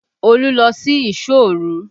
Olu lọ sí ìsọ́ òru